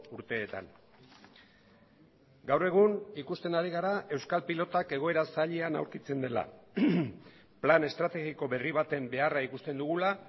urteetan gaur egun ikusten ari gara euskal pilotak egoera zailean aurkitzen dela plan estrategiko berri baten beharra ikusten dugula